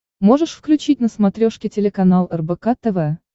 можешь включить на смотрешке телеканал рбк тв